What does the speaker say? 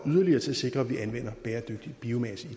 yderligere til at sikre at vi anvender bæredygtig biomasse i